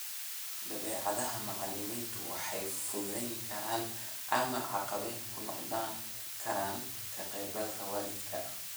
Dabeecadaha macallimiintu waxay fududayn karaan ama caqabad ku noqon karaan ka qaybgalka waalidka.